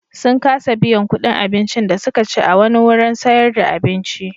Sun kasa biyan kuɗin abincin da suka ci a wani wurin sayar da abinci.